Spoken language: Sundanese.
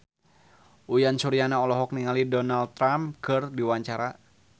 Uyan Suryana olohok ningali Donald Trump keur diwawancara